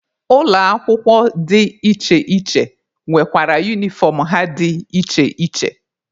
Ụlọ akwụkwọ dị iche iche nwekwara unifọm ha dị iche iche.